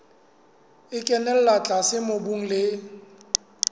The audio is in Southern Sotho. e kenella tlase mobung le